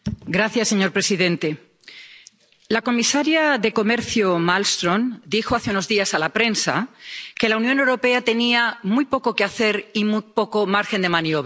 Señor presidente, la comisaria de Comercio Malmström dijo hace unos días a la prensa que la Unión Europea tenía muy poco que hacer y muy poco margen de maniobra.